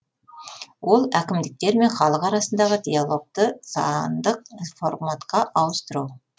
ол әкімдіктер мен халық арасындағы диалогты сандық форматқа ауыстыру